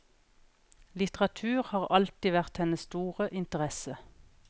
Litteratur har alltid vært hennes store interesse.